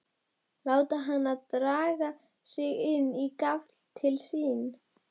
Láta hana draga sig inn á gafl til sín.